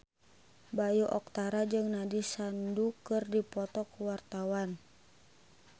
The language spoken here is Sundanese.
Bayu Octara jeung Nandish Sandhu keur dipoto ku wartawan